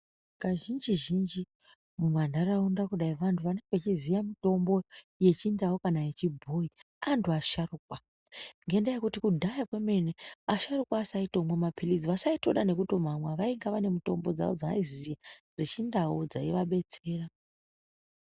Kazhinji zhinji mumandaraunda kudai vantu vanenge vechiziva mitombo yechindau kana yechibhoyi antu asharukwa, ngenyaya yokuti kudhaya kwemene asharuka aisatombomwe mapilizi vaisatomboda nekutomwa vaika vane mitombo dzawo dzaizi dzechindau dzaiva betsera.